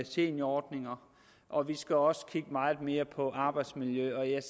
seniorordninger og vi skal også kigge meget mere på arbejdsmiljø og jeg